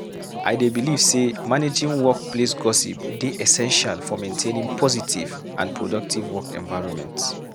I dey believe say managing workplace gossip dey essential for maintaining positive and productive work environment.